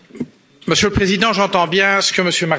Monsieur le Président, j'entends bien ce que dit M.